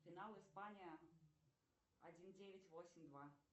финал испания один девять восемь два